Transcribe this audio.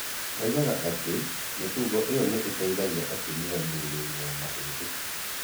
Oigaga atĩ mĩtugo ĩyo nĩ ĩteithagia atumia mĩrũrĩinĩ ya mahĩndĩ.